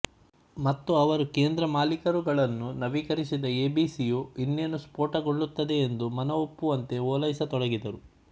ಮತ್ತು ಅವರು ಕೇಂದ್ರ ಮಾಲೀಕರುಗಳನ್ನು ನವೀಕರಿಸಿದ ಎಬಿಸಿಯು ಇನ್ನೇನು ಸ್ಫೋಟಗೊಳ್ಳುತ್ತಿದೆಯೆಂದು ಮನವೊಪ್ಪುವಂತೆ ಓಲೈಸತೊಡಗಿದರು